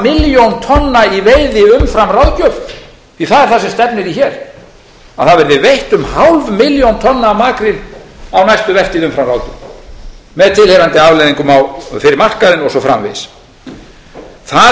milljón tonna í veiði umfram ráðgjöf því það er það sem stefnir í hér að það verði veitt um hálf milljón tonna af makríl á næstu vertíð umfram ráðgjöf með tilheyrandi afleiðingum fyrir markaðinn og svo framvegis það